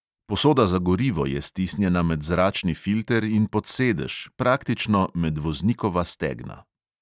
Posoda za gorivo je stisnjena med zračni filter in pod sedež, praktično med voznikova stegna.